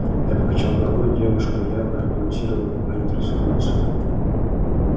я покачал головой девушка явно балансировала на грани трансформации